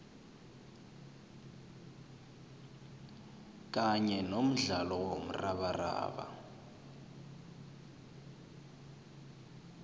kanye nomdlalo womrabaraba